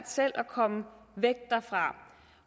selv at komme væk derfra